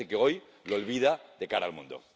Y parece que hoy lo olvidan de cara al mundo.